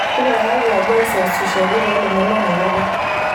tipikaki ajoaisasishwaki to lomon le tenakata